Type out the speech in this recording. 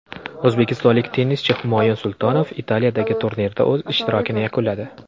O‘zbekistonlik tennischi Humoyun Sultonov Italiyadagi turnirda o‘z ishtirokini yakunladi.